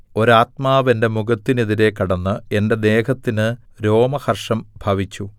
ഒരാത്മാവ് എന്റെ മുഖത്തിനെതിരെ കടന്ന് എന്റെ ദേഹത്തിന് രോമഹർഷം ഭവിച്ചു